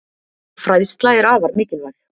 Fræðsla er afar mikilvæg.